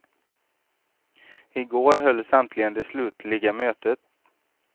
I går hölls äntligen det slutliga mötet.